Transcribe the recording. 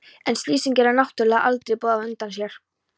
En slysin gera náttúrlega aldrei boð á undan sér.